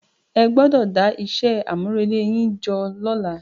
Ẹ gbọdọ̀ dá iṣẹ́ àmúrelé yín jọ lọ́la.